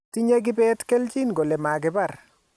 Tinye kibet Kelchin kole makibar